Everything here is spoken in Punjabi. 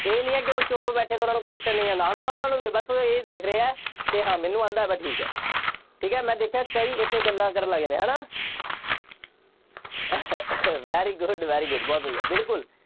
ਇਹ ਨਹੀਂ ਹੈ ਕਿ ਉਹ ਚੁੱਪ ਬੈਠੇ ਤਾਂ ਉਹਨਾ ਨੂੰ question ਨਹੀਂ ਆਉਂਦਾ, ਆਉਂਦਾ ਉਹਨਾ ਨੂੰ ਵੀ ਹੈ। ਬਸ ਉਹ ਇਹ ਦੇਖ ਰਹੇ ਹੈ ਕਿ ਹਾਂ ਮੈਨੂੰ ਆਉਂਦਾ, ਬਸ ਠੀਕ ਹੈ, ਠੀਕ ਹੈ, ਮੈਂ ਦੇਖਿਆ ਕਈ ਇੱਥੇ ਗੱਲਾਂ ਕਰਨ ਲੱਗ ਜਾਂਦੇ ਆ, ਹੈ ਨਾ very good, very good ਬਹੁਤ ਵਧੀਆ, ਬਿਲਕੁੱਲ।